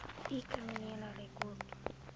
u kriminele rekord